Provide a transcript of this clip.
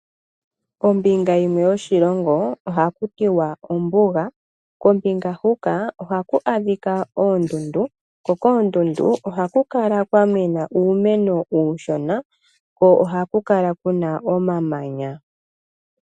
Ombinga yimwe yoshilongo ohaku tiwa ombuga kombinaga huka ohaku adhika oondundu. Ko koondundu ohaku kala kwa mena uumeno uushona kwo ohaku kala kuna omamanya.